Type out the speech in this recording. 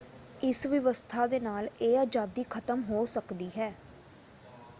ਇਸ ਵਿਵਸਥਾ ਦੇ ਨਾਲ ਇਹ ਆਜ਼ਾਦੀ ਖ਼ਤਮ ਹੋ ਸਕਦੀ ਹੈ।